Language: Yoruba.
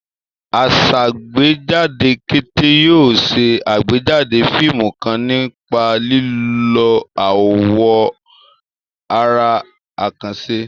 Asàgbéjáde Kate yóò ṣe àgbéjáde fíìmù kan nípa lílo àwọn àrà àkànṣe.